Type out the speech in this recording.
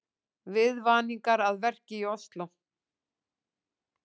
Viðvaningar að verki í Ósló